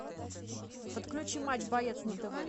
подключи матч боец на тв